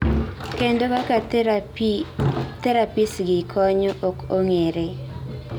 kendo kaka therapiesgi konyo ok ong'ere